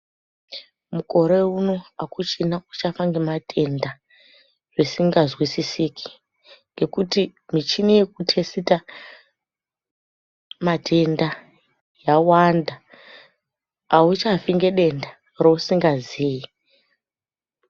Mukore uno akuchina uchafa ngematenda zvisingazwisisiki, ngekuti michini yekutesita matenda yawanda. Auchafi ngedenda reusingazii.